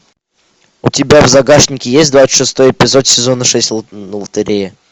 у тебя в загашнике есть двадцать шестой эпизод сезона шесть лотерея